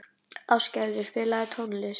Ástgerður, spilaðu tónlist.